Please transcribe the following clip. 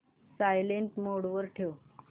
silent mode वर ठेव